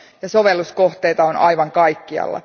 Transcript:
Sovelluskohteita on aivan kaikkialla.